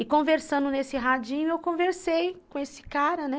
E conversando nesse radinho, eu conversei com esse cara, né?